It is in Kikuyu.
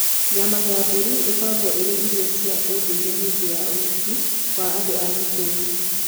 Nyama ya mbũri ĩkoragwo ĩrĩ irio cia ũndũire hĩndĩ ya ũhiki wa andũ a gĩkũyũ.